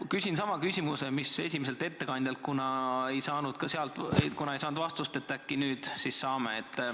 Ma küsin sama küsimuse, mis esimeselt ettekandjalt, kuna temalt ma ei saanud vastust, äkki nüüd siis saan.